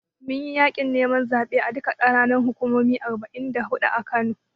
Mun yi yaƙin neman zaɓe a duka ƙananan hukumomin arba'in da huɗu.